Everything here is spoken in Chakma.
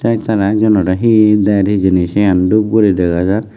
ek jone ek jonore he der hijeni sien dub guri dega jar.